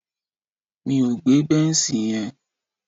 Mi ò gbé bẹ́nṣì yẹn.